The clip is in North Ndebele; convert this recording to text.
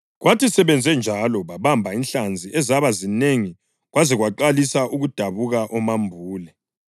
Kwathi sebenze njalo babamba inhlanzi ezaba zinengi kwaze kwaqalisa ukudabuka omambule.